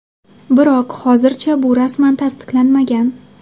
Biroq hozircha bu rasman tasdiqlanmagan.